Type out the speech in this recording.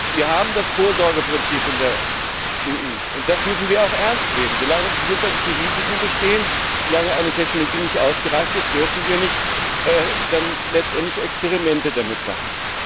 EU. Wir haben das Vorsorgeprinzip in der EU, und das müssen wir auch ernst nehmen. Solange gesundheitliche Risiken bestehen und eine Technologie nicht ausgereift ist, dürfen wir letztendlich keine Experimente damit machen.